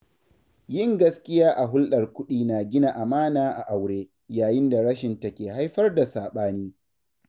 Yin gaskiya a hulɗar kuɗi na gina amana a aure, yayin da rashinta ke haifar da saɓani